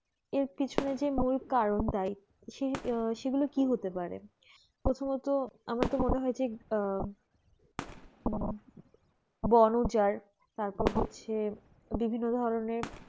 এর পিছনে মূল কারণটাই সেগুলো কি হতে পারে প্রথমত আমার মনে হয় যে আহ বনজার তারপর হচ্ছে বিভিন্ন ধরনের